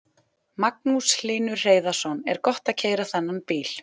Magnús Hlynur Hreiðarsson: Er gott að keyra þennan bíl?